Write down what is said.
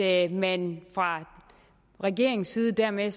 at man fra regeringens side dermed